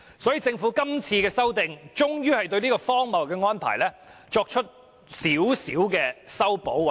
所以，政府今次修例，終於對這項荒謬的安排稍作修補。